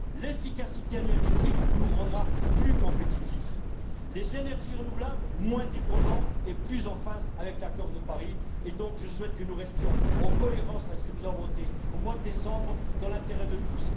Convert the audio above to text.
L'efficacité énergétique nous rendra plus compétitifs, les énergies renouvelables moins dépendants et plus en phase avec l'accord de Paris, et donc je souhaite que nous restions en cohérence avec ce que nous avons voté au mois de décembre dans l'intérêt de tous.